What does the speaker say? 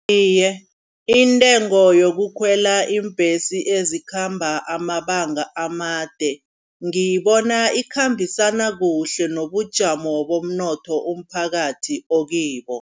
Iye intengo yokukhwela iimbhesi ezikhamba amabanga amade, ngiyibona ikhambisana kuhle nobujamo bomnotho umphakathi okibo.